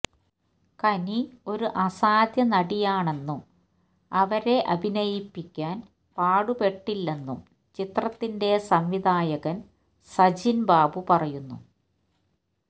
കനി ഒരു അസാധ്യ നടിയാണെന്നും അവരെ അഭിനയിപ്പിക്കാന് പാടുപെട്ടില്ലെന്നും ചിത്രത്തിന്റെ സംവിധായകന് സജിന് ബാബു പറയുന്നു